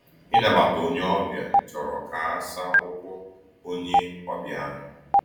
Ịnabata onye ọbịa chọrọ ka a saa ụkwụ onye ọbịa ahụ.